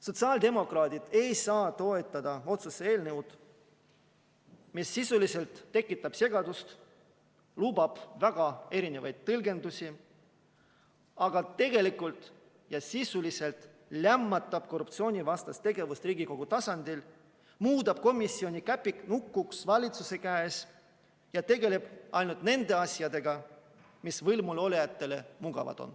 Sotsiaaldemokraadid ei saa toetada otsuse eelnõu, mis tekitab segadust ja lubab väga erinevaid tõlgendusi, aga tegelikult ja sisuliselt lämmatab korruptsioonivastast tegevust Riigikogu tasandil, muudab komisjoni käpiknukuks valitsuse käes ja tegeleb ainult nende asjadega, mis on võimulolijatele mugavad.